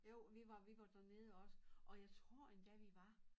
Jo vi var vi var dernede også og jeg tror endda vi var